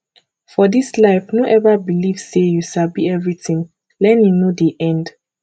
for dis life no eva beliv sey you sabi everytin learning no dey end